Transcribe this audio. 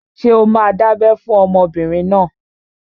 Ṣé o máa dábẹ́ fún ọmọbìnrin náà?